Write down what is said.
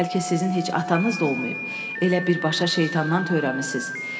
bəlkə sizin heç atanız da olmayıb, elə birbaşa şeytandan törəmisiniz.